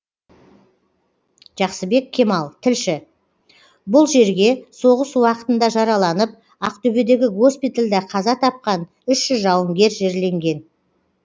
жақсыбек кемал тілші бұл жерге соғыс уақытында жараланып ақтөбедегі госпитальда қаза тапқан үш жүз жауынгер жерленген